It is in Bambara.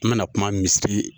N bɛna kuma misiri